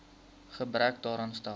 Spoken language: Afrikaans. gebrek daaraan stel